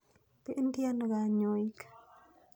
Pendi ano kanyoik?